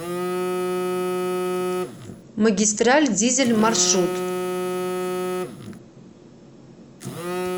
магистраль дизель маршрут